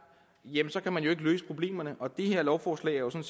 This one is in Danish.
kan man jo ikke løse problemerne og det her lovforslag er jo